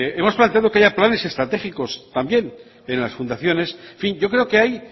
hemos planteado que haya planes estratégicos también en las fundaciones en fin yo creo que hay